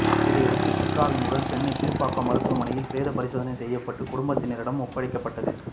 இதையடுத்து சித்ராவின் உடல் சென்னை கீழ்ப்பாக்கம் மருத்துவமனையில் பிரேத பரிசோதனை செய்யப்பட்டு குடும்பத்தினரிடம் ஒப்படைக்கப்பட்டது